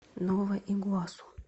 нова игуасу